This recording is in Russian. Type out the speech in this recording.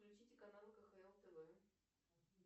включите канал кхл тв